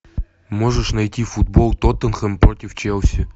можешь найти футбол тоттенхэм против челси